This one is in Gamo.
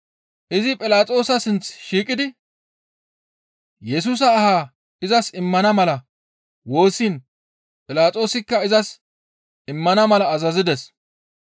Izi Philaxoosa sinththi shiiqidi Yesusa aha izas immana mala woossiin Philaxoosikka izas immana mala azazides.